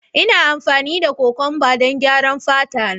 Ina amfani da kokwamba don gyaran fata na